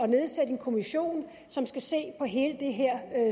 nedsætte en kommission som skal se på hele det her